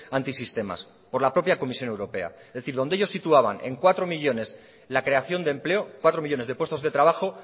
antisistemas por la propia comisión europea es decir donde ellos situaban en cuatro millónes la creación de empleo cuatro millónes de puestos de trabajo